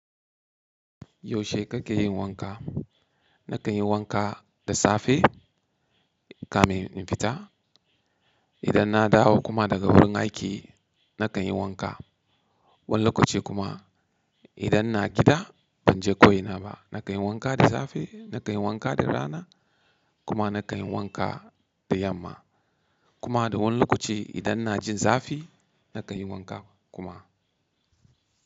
Yaushe kake yin wanka? Na kan yi wanka da safe, kamin in fita, idan na dawo kuma daga wurin aiki, na kan yi wanka. Wani lokaci kuma, idan ina gida ban je ko ina ba, na kan yi wanka da safe, na kan yi wanka da rana, kuma na kan yi wanka da yamma. Kuma da wani lokaci, idan na jin zafi, na kan yi wanka kuma.